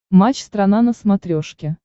матч страна на смотрешке